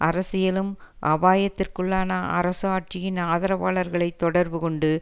அரசியலும் அபாயத்திற்குள்ளான அரசு ஆட்சியின் ஆதரவாளர்களை தொடர்பு கொண்டு